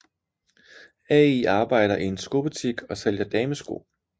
Al arbejder i en skobutik og sælger damesko